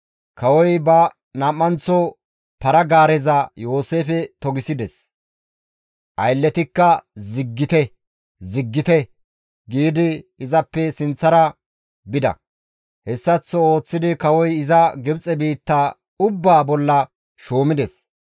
Kawoy ba nam7anththo para-gaareza Yooseefe togisides; aylletikka, «Ziggite! Ziggite!» giidi izappe sinththara bida. Hessaththo ooththidi kawoy iza Gibxe biitta ubbaa bolla shuumides.